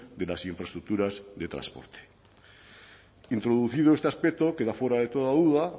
de las infraestructuras de transporte introducido este aspecto queda fuera de toda duda